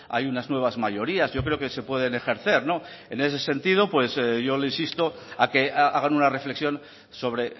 hay unas nuevas mayorías yo creo que se pueden ejercer no en ese sentido yo le insisto a que hagan una reflexión sobre